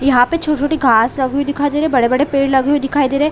यहाँ पे छोटी-छोटी घास लगी हुई दिखाई दे रहे है बड़े-बड़े पेड़ लगी हुई दिखाई दे रहे है।